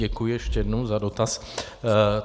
Děkuji ještě jednou za dotaz.